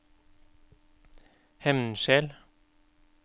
Hemnskjel